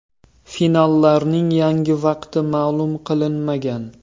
Finallarning yangi vaqti ma’lum qilinmagan.